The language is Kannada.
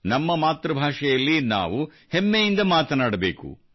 ನಮ್ಮ ಮಾತೃಭಾಷೆಯಲ್ಲಿ ನಾವು ಹೆಮ್ಮೆಯಿಂದ ಮಾತನಾಡಬೇಕು